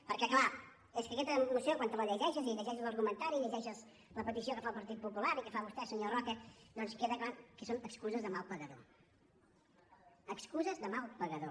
perquè és clar és que aquesta moció quan te la llegeixes i llegeixes l’argumentari i llegeixes la petició que fa el partit popular i que fa vostè senyor roca doncs queda clar que són excuses de mal pagador excuses de mal pagador